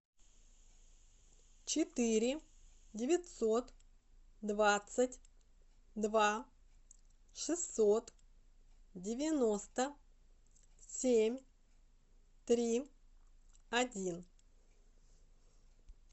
четыре девятьсот двадцать два шестьсот девяносто семь три один